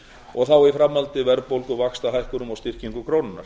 og þá í framhaldi verðbólgu vaxtahækkun og styrkingu krónunnar